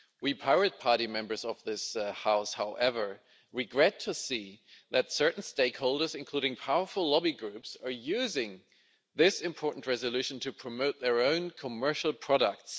We Pirate Party members of this House, however, regret to see that certain stakeholders, including powerful lobby groups, are using this important resolution to promote their own commercial products.